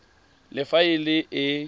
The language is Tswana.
le fa e le e